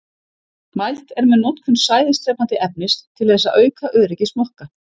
Mælt er með notkun sæðisdrepandi efnis til þess að auka öryggi smokka.